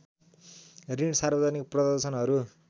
ऋण सार्वजनिक प्रदर्शनहरू